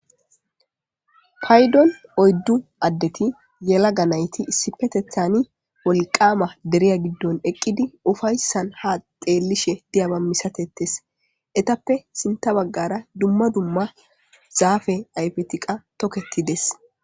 paydon oyddu addeti yela ga nayti issipetethani wolqaama deriya giddon eqqidi ufayssan ha xeellishe diyaba misatettes etappe sinta baggara dumma dumma zaafe aypetiqa toketides